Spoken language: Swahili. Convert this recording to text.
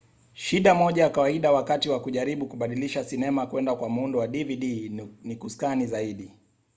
shida moja ya kawaida wakati wa kujaribu kubadilisha sinema kwenda kwa muundo wa dvd ni kuskani zaidi